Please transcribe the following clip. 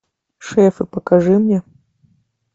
шефы покажи мне